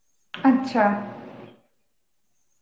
আচ্ছা.